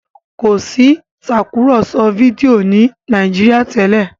kọ sí Tàkùrọ̀sọ fídíò ni Nàìjíríà tèlé